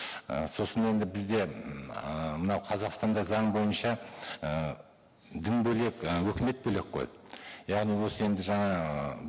і сосын енді бізде ммм ыыы мына қазақстанда заң бойынша і дін бөлек і өкімет бөлек қой яғни осы енді жаңағы